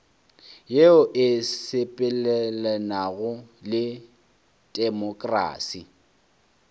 yeo e sepelelanago le temokrasi